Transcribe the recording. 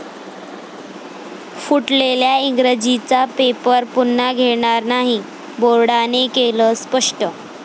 फुटलेल्या इंग्रजीचा पेपर पुन्हा घेणार नाही, बोर्डाने केलं स्पष्ट